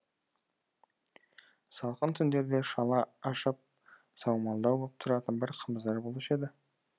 салқын түндерде шала ашып саумалдау боп тұратын бір қымыздар болушы еді